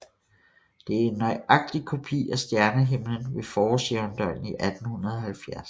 Det er en nøjagtig kopi af stjernehimlen ved forårsjævndøgn i 1870